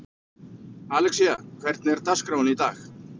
Alexía, hvernig er dagskráin í dag?